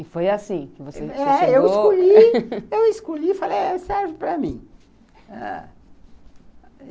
E foi assim... É, eu escolhi, eu escolhi e falei, serve para mim, ãh